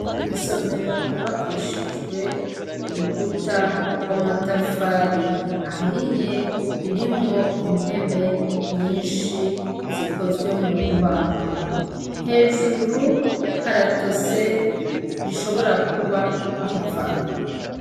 Isomero ryubakishije nurukuta rw'amatafari ahiye ririmwo intebe nyinshi zikozwe mumbaho. Hejuru haratose rishibora kuba riva.